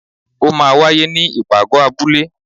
o maa wàyé ní ipágọ abúle